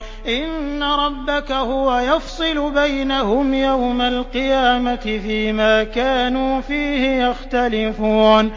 إِنَّ رَبَّكَ هُوَ يَفْصِلُ بَيْنَهُمْ يَوْمَ الْقِيَامَةِ فِيمَا كَانُوا فِيهِ يَخْتَلِفُونَ